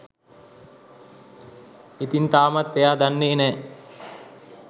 ඉතින් තාමත් එයා දන්නෙ නෑ